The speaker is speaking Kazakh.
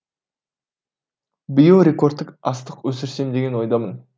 биыл рекордтық астық өсірсем деген ойдамын